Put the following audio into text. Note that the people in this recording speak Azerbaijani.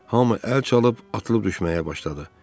Hamı əl çalıb, atılıb-düşməyə başladı.